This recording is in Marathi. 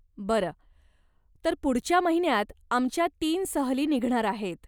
बरं. तर पुढच्या महिन्यात आमच्या तीन सहली निघणार आहेत.